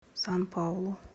сан паулу